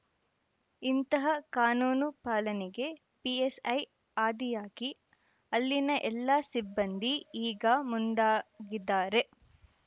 ಇಂತಹ ಕಾನೂನು ಪಾಲನೆಗೆ ಪಿಎಸ್‌ಐ ಆದಿಯಾಗಿ ಅಲ್ಲಿನ ಎಲ್ಲ ಸಿಬ್ಬಂದಿ ಈಗ ಮುಂದಾಗಿದ್ದಾರೆ